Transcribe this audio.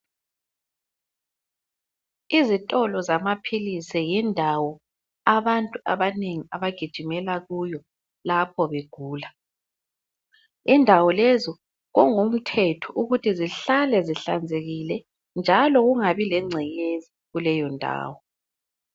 Izitolo zamaphilisi yindawo abantu abanengi abagijimela kuyo lapho begula. Indawo lezo kungumthetho ukuthi zihlale zihlanzekile njalo kungabi lengcekeza kuleyo ndawo.